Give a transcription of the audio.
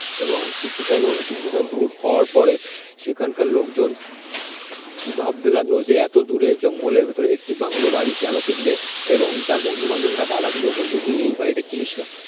এবং কিছুটা কিছুটা দূর হওয়ার পরে সেখানকার লোকজন ভাবতে লাগলো যে এত দূরে জঙ্গলের ভেতরে একটি বাংলো বাড়ি কেন কিনবে এবং তার বন্ধু-বান্ধবরা বাধা দিল বন্ধু তুই বাড়িটা কিনিস না